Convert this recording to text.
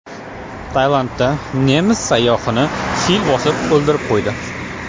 Tailandda nemis sayyohini fil bosib o‘ldirib qo‘ydi.